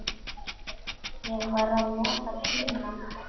Ég var að nota tímann.